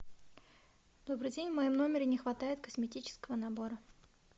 добрый день в моем номере не хватает косметического набора